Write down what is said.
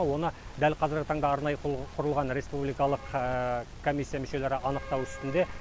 оны дәл қазіргі таңда арнайы құрылған республикалық коммисия мүшелері анықтау үстінде